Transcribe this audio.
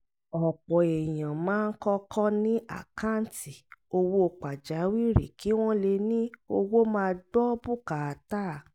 ọ̀pọ̀ èèyàn máa ń kọ́kọ́ ní àkáǹtì owó pàjáwìrì kí wọ́n lè ní owó máa gbọ́ bùkátà